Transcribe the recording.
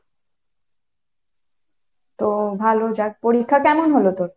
তো ভালো যাক, পরীক্ষা কেমন হলো তোর?